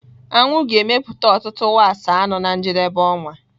Aṅụ ga-emepụta ọtụtụ wax anụ na njedebe ọnwa.